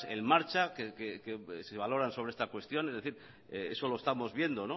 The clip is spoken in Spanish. en marcha que se valoran sobre esta cuestión es decir eso lo estamos viendo